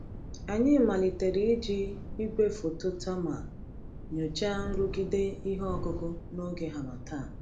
Anyị malitere iji igwefoto thermal nyochaa nrụgide ihe ọkụkụ n’oge harmattan.